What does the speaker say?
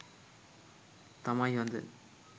තමයි හොඳ.